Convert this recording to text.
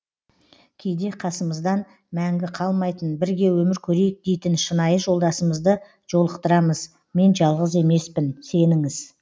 кейде қасымыздан мәңгі қалмайтын бірге өмір көрейік дейтін шынайы жолдасымызды жолықтырамыз мен жалғыз емеспін сеніңіз